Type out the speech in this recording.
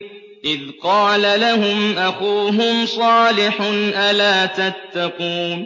إِذْ قَالَ لَهُمْ أَخُوهُمْ صَالِحٌ أَلَا تَتَّقُونَ